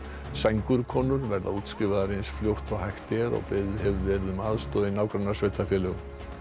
sængurkonur verða útskrifaðar eins fljótt og hægt er og beðið hefur verið um aðstoð í nágrannasveitarfélögum